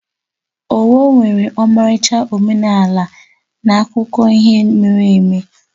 Owo nwere ọmarịcha omenala na akụkọ ihe mere eme.